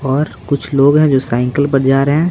और कुछ लोग हैं जो साइकिल पर जा रहे हैं।